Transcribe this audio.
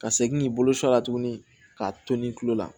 Ka segin k'i bolo sɔn a la tuguni k'a to ni tulo la